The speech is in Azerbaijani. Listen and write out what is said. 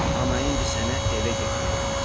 Amma indi sənə evə getmək lazımdır.